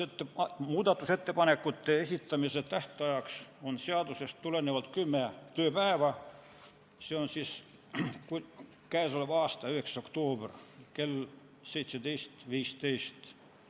Muudatusettepanekute esitamise tähtaeg on seadusest tulenevalt kümme tööpäeva, see on k.a 9. oktoober kell 17.15.